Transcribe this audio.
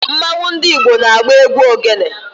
Mmanwu ndi Igbo na-agba egwu ogene